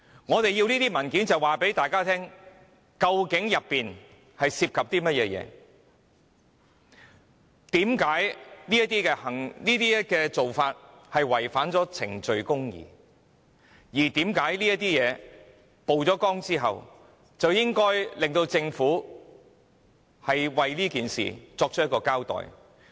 我們索取這些文件是要告訴大家，當中涉及甚麼內容；為何這樣做會違反程序公義，以及有必要在事件曝光後，迫使政府作出交代。